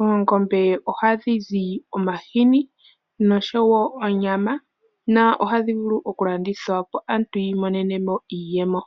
Oongombe ohadhi zi omahini, noshowo onyama, ohadhi vulu wo okulandithwa, opo aantu yi imonene iiyemo.